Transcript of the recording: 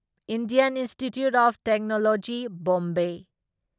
Indian Institute of Technology Bombay